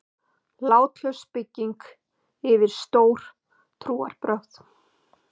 Látlaus bygging yfir stór trúarbrögð.